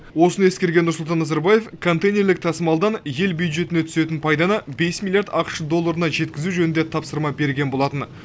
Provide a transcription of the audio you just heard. осыны ескерген нұрсұлтан назарбаев контейнерлік тасымалдан ел бюджетіне түсетін пайданы бес миллиард ақш долларына жеткізу жөнінде тапсырма берген болатын